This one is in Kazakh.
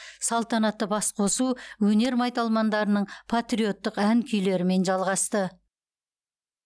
салтанатты басқосу өнер майталмандарының патриоттық ән күйлерімен жалғасты